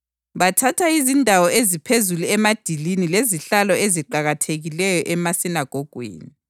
bathanda izindawo eziphezulu emadilini lezihlalo eziqakathekileyo emasinagogweni,